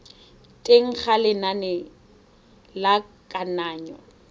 teng ga lenane la kananyo